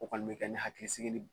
O kɔni be kɛ ni hakili sigi ni